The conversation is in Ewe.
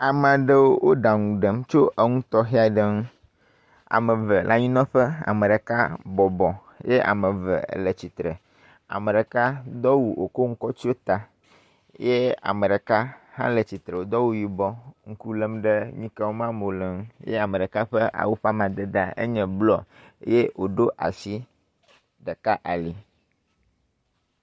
Ame aɖewo wo ɖaŋu ɖem tso enu tɔxɛ aɖe ŋu. Ame eve le anyinɔƒe ye, ame ɖeka bɔbɔ ye ame eve le tsitre. Ame ɖeka do awu wòko nu kɔ tsyɔ ta ye ame ɖeka hã le tsitre wòdo awu yibɔ, ŋku lém ɖe nu yike wɔm ameawo le ŋu ye ame ɖeka ƒe awu ƒe amadedea nye blɔ eye wòɖo asi ɖeka ali.